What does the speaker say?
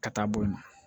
Ka taa boyan